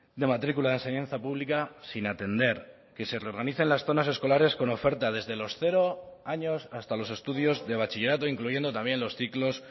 de matrícula de enseñanza pública sin atender que se reorganicen las zonas escolares con oferta desde los cero años hasta los estudios de bachillerato incluyendo también los ciclos